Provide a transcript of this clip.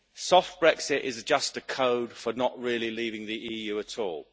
Soft Brexit' is just code for not really leaving the EU at all.